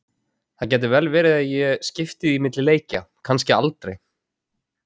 Það gæti vel verið að ég skipti því milli leikja, kannski aldrei.